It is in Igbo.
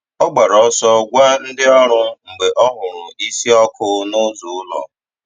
Ọ gbàrà ọsọ gwa ndị ndị ọrụ mgbe ọ hụrụ̀ ísì ọkụ̀ n’ụzọ ụlọ̀.